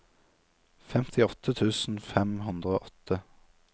femtiåtte tusen fem hundre og åtte